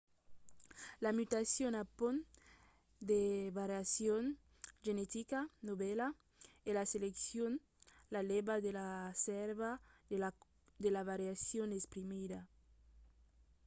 la mutacion apond de variacion genetica novèla e la seleccion la lèva de la sèrva de la variacion exprimida